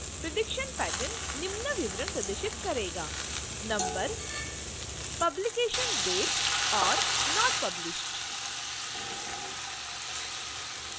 prediction pattern निम्न विवरण प्रदर्शित करेगा